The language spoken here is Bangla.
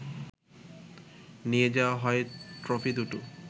নিয়ে যাওয়া হয় ট্রফি দুটো